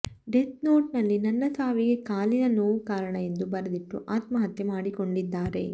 death ನೋಟ್ನಲ್ಲಿ ನನ್ನ ಸಾವಿಗೆ ಕಾಲಿನ ನೋವು ಕಾರಣ ಎಂದು ಬರೆದಿಟ್ಟು ಆತ್ಮಹತ್ಯೆ ಮಾಡಿಕೊಂಡಿದ್ದಾರೆ